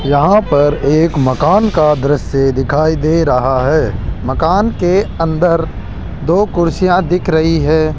यहां पर एक मकान का दृश्य दिखाई दे रहा है मकान के अंदर दो कुर्सियां दिख रही है।